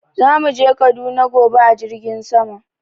Za mu je kaduna gobe a jirgin sama.